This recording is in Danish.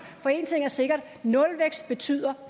for én ting er sikkert nulvækst betyder